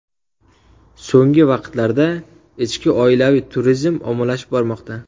So‘nggi vaqtlarda ichki oilaviy turizm ommalashib bormoqda.